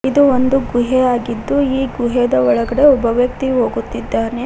ಇದು ಒಂದು ಗುಹೆಯಾಗಿದ್ದು ಈ ಗುಹೆದ ಒಳಗಡೆ ಒಬ್ಬ ವ್ಯಕ್ತಿ ಹೋಗುತ್ತಿದ್ದಾನೆ.